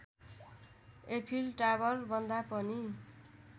Eiffel टावरभन्दा पनि